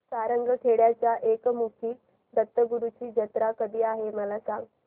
सारंगखेड्याच्या एकमुखी दत्तगुरूंची जत्रा कधी आहे मला सांगा